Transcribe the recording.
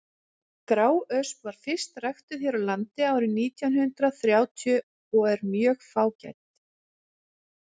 gráösp var fyrst ræktuð hér á landi árið nítján hundrað þrjátíu en er mjög fágæt